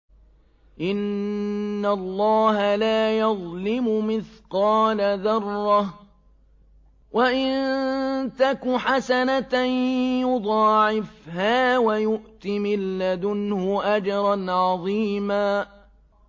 إِنَّ اللَّهَ لَا يَظْلِمُ مِثْقَالَ ذَرَّةٍ ۖ وَإِن تَكُ حَسَنَةً يُضَاعِفْهَا وَيُؤْتِ مِن لَّدُنْهُ أَجْرًا عَظِيمًا